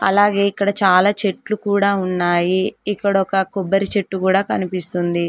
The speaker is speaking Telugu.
అలాగే ఇక్కడ చాలా చెట్లు కూడా ఉన్నాయి ఇక్కడ ఒక కొబ్బరి చెట్టు కూడా కనిపిస్తుంది.